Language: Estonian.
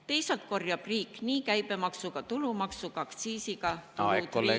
Teisalt korjab riik nii käibemaksu, tulumaksu kui aktsiisiga saadud tulud riigieelarvesse.